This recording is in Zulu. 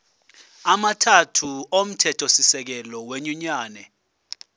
amathathu omthethosisekelo wenyunyane